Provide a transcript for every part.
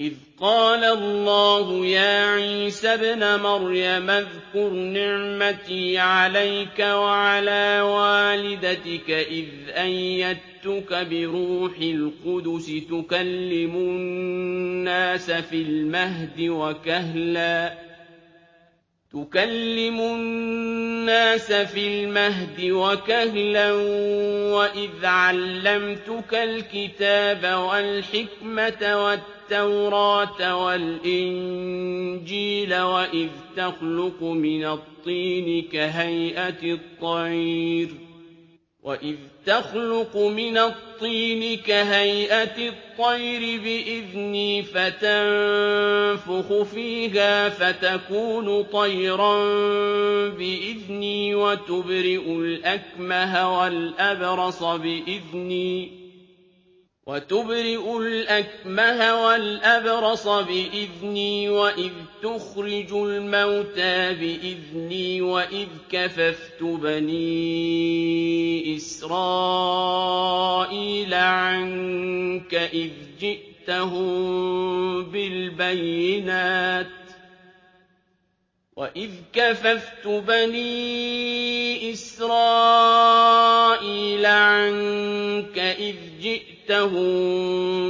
إِذْ قَالَ اللَّهُ يَا عِيسَى ابْنَ مَرْيَمَ اذْكُرْ نِعْمَتِي عَلَيْكَ وَعَلَىٰ وَالِدَتِكَ إِذْ أَيَّدتُّكَ بِرُوحِ الْقُدُسِ تُكَلِّمُ النَّاسَ فِي الْمَهْدِ وَكَهْلًا ۖ وَإِذْ عَلَّمْتُكَ الْكِتَابَ وَالْحِكْمَةَ وَالتَّوْرَاةَ وَالْإِنجِيلَ ۖ وَإِذْ تَخْلُقُ مِنَ الطِّينِ كَهَيْئَةِ الطَّيْرِ بِإِذْنِي فَتَنفُخُ فِيهَا فَتَكُونُ طَيْرًا بِإِذْنِي ۖ وَتُبْرِئُ الْأَكْمَهَ وَالْأَبْرَصَ بِإِذْنِي ۖ وَإِذْ تُخْرِجُ الْمَوْتَىٰ بِإِذْنِي ۖ وَإِذْ كَفَفْتُ بَنِي إِسْرَائِيلَ عَنكَ إِذْ جِئْتَهُم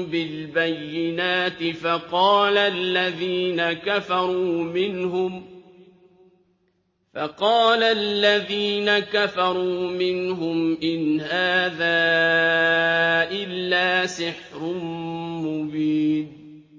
بِالْبَيِّنَاتِ فَقَالَ الَّذِينَ كَفَرُوا مِنْهُمْ إِنْ هَٰذَا إِلَّا سِحْرٌ مُّبِينٌ